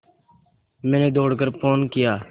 मैंने दौड़ कर फ़ोन किया